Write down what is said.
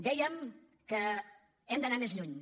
dèiem que hem d’anar més lluny